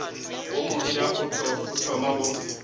wo mofsa o thoma go